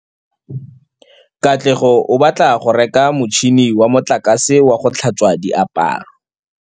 Katlego o batla go reka motšhine wa motlakase wa go tlhatswa diaparo.